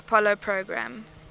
apollo program